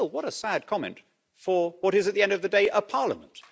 Still, what a sad comment for what is, at the end of the day, a parliament.